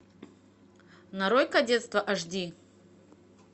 нарой кадетство аш ди